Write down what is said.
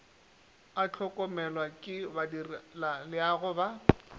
a hlokomelwa ke badirelaleago ba